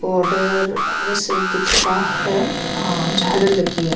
Border ऐसे दिख रहा है अ और झाले लगी है।